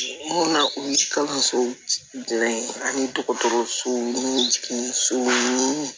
Mun na o ye kalanso dilan in ani dɔgɔtɔrɔsow ni sow ni